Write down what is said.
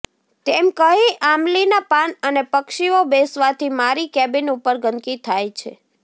તેમ કહી આમલીના પાન અને પક્ષીઓ બેસવાથી મારી કેબીન ઉપર ગંદકી થાય છે